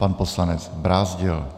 Pan poslanec Brázdil.